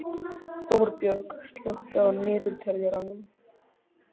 Þorbjörg, slökktu á niðurteljaranum.